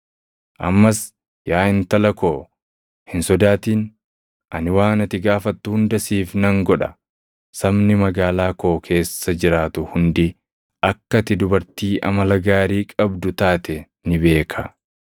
Ammas yaa intala koo hin sodaatin. Ani waan ati gaafattu hunda siif nan godha. Sabni magaalaa koo keessa jiraatu hundi akka ati dubartii amala gaarii qabdu taate ni beeka.